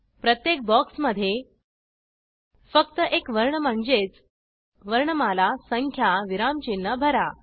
प्रत्येक बॉक्समध्ये फक्त एक वर्ण म्हणजेच वर्णमाला संख्या विरामचिन्ह भरा